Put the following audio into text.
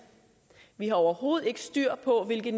vi har overhovedet ikke styr på hvilke